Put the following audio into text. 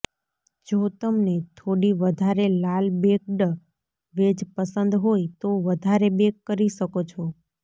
જો તમને થોડી વધારે લાલ બેક્ડ વેજ પસંદ હોય તો વધારે બેક કરી શકો છો